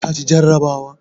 ka ci jarrabawa?